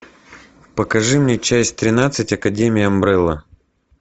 покажи мне часть тринадцать академия амбрелла